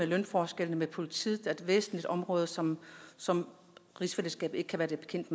lønforskellene ved politiet er et væsentligt område som som rigsfællesskabet ikke kan være bekendt